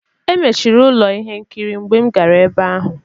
Emechiri ụlọ ihe nkiri mgbe m gara ebe ahụ.